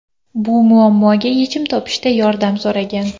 Bu muammoga yechim topishda yordam so‘ragan.